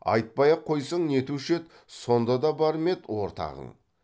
айтпай ақ қойсаң нетуші еді сонда да бар ма ед ортағың